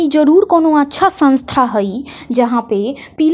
जरूर कोनो अच्छा संस्था हइ जहां पे--